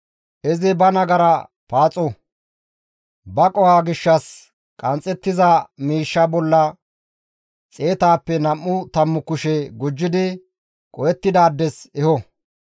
Izi ba nagara paaxo; ba qohoza gishshas qanxxettiza miishshaa bolla xeetappe nam7u tammu kushe gujjidi qohettidaades eho.